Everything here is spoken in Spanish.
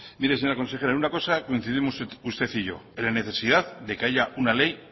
mire señora consejera en una cosa coincidimos usted y yo en la necesidad de que haya una ley